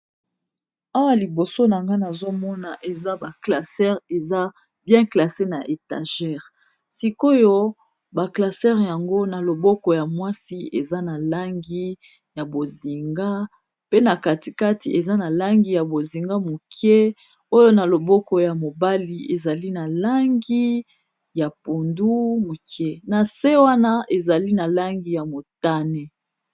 Awa liboso na nga nazomona eza ba classe eza bien na etagere sikoyo ba classeur yango na loboko ya mwasi eza na langi ya bozinga, pe na katikati eza na langi ya bozinga moke, oyo na loboko ya mobali ezali na langi ya pundu, moke na se wana ezali na langi ya motane.